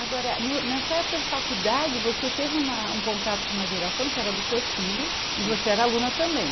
Agora, no na sua época de faculdade, você teve uma um contato com uma geração que era dos seus filhos e você era aluna também.